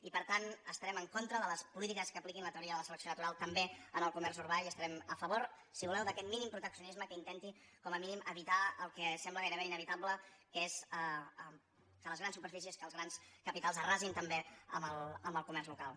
i per tant estarem en contra de les polítiques que apliquin la teoria de la selecció natural també en el comerç urbà i estarem a favor si voleu d’aquest mínim proteccionisme que intenti com a mínim evitar el que sembla gairebé inevitable que és que les grans superfícies que els grans capitals arrasin també el comerç local